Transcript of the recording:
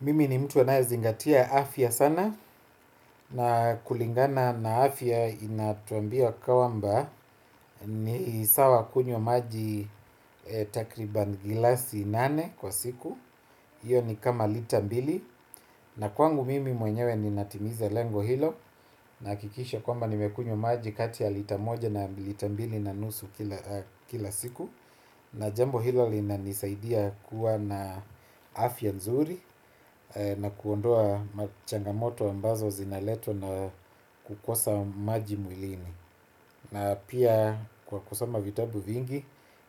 Mimi ni mtu anayezingatia afya sana, na kulingana na afya inatuambia kwamba ni sawa kunywa maji takriban gilasi nane kwa siku. Hio ni kama lita mbili na kwangu mimi mwenyewe ninatimiza lengo hilo, nahakikisha kwamba nimekunywa maji kati ya lita moja na lita mbili na nusu kila siku. Na jambo hilo linanisaidia kuwa na afya nzuri. Na kuondoa machangamoto ambazo zinaletwa na kukosa maji mwilini. Na pia kwa kusoma vitabu vingi,